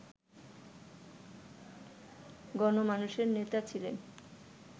গণমানুষের নেতা ছিলেন